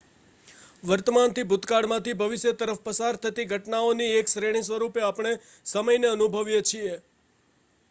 વર્તમાનથી ભૂતકાળમાંથી ભવિષ્ય તરફ પસાર થતી ઘટનાઓની એક શ્રેણી સ્વરૂપે આપણે સમયને અનુભવીએ છીએ